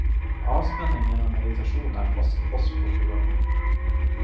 Avspenning gjennom meditasjon er fast post på programmet.